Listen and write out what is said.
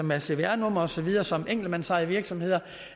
med cvr nummer og så videre som enkeltmandsejede virksomheder